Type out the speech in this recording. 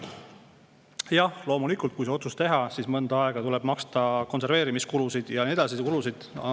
Jah, loomulikult, kui see otsus teha, siis mõnda aega tuleb maksta konserveerimiskulusid ja muidki kulusid.